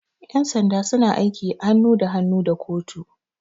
Yan sanda suna aiki hannu da hannu da kotu.